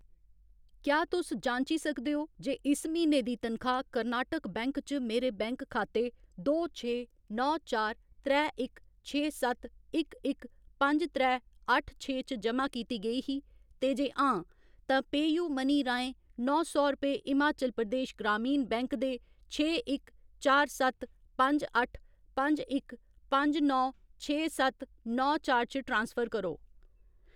क्या तुस जांची सकदे ओ जे इस म्हीने दी तनखाह्‌‌ कर्नाटक बैंक च मेरे बैंक खाते दो छे नौ चार त्रै इक छे सत्त इक इक पंज त्रै अट्ठ छे च जमा कीती गेई ही, ते जे हां, तां पेऽयूमनी राहें नौ सौ रपेऽ हिमाचल प्रदेश ग्रामीण बैंक दे छे इक चार सत्त पंज अट्ठ पंज इक पंज नौ छे सत्त नौ चार च ट्रांसफर करो।